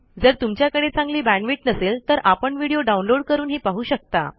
जर तुमच्याकडे चांगली बॅण्डविड्थ नसेल तर आपण व्हिडिओ डाउनलोड करूनही पाहू शकता